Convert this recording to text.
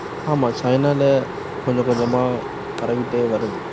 ஆமா சைனால கொஞ்சம் கொஞ்சமா பரவிட்டே வருது.